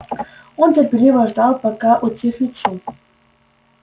он терпеливо ждал пока утихнет шум